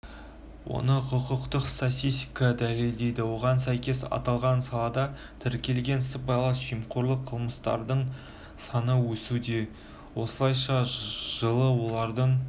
онықұқықтық статистика дәлелдейді оған сәйкес аталған салада тіркелген сыбайлас жемқорлық қылмыстардың саны өсуде осылайша жылы олардың